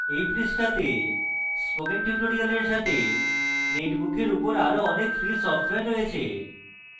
এই পৃষ্ঠাতে spoken tutorials সাথে netbook উপর আরো অনেক free সফটওয়্যার রয়েছে